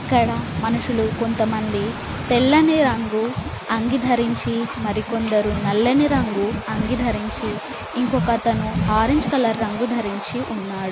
ఇక్కడ మనుషులు కొంతమంది తెల్లని రంగు అంగి ధరించి మరికొందరు నల్లని రంగు అంగి ధరించి ఇంకొకతను ఆరంజ్ కలర్ రంగు ధరించి ఉన్నాడు.